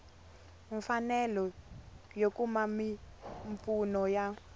mfanelo yo kuma mimpfuno ya